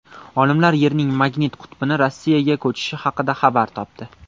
Olimlar Yerning magnit qutbini Rossiyaga ko‘chishi haqida xabar topdi.